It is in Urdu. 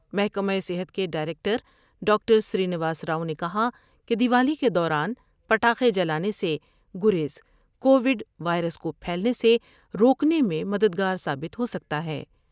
محکمہ صحت کے director doctor Srinivas Rao نے کہا کہ دیوالی کے دوران پٹاخے جلا نے سے گریز کو وڈوائرس کو پھیلنے سے روکنے میں مددگار ثابت ہوسکتا ہے ۔